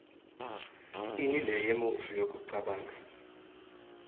inble yemuntju yekucabanga